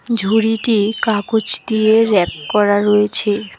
ঝুড়িতে কাগজ দিয়ে র্যাপ করা রয়েছে।